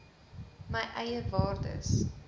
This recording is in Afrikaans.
my eie waardes